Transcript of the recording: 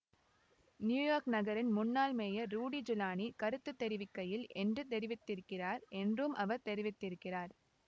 New York நகரின் முன்னாள் mayor Rudy Giuliani கருத்து தெரிவிக்கையில் என்று தெரிவித்திருக்கிறார் என்றும் அவர் தெரிவித்திருக்கிறார்